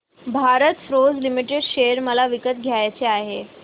Bharat forge limited share मला विकत घ्यायचे आहेत